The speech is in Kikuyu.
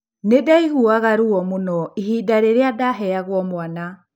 Nĩ ndaiguaga ruo mũno ihinda rĩu rĩrĩa ndaheagwo mwana